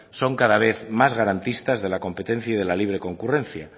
son cada vez más garantistas de la competencia y de la libre concurrencia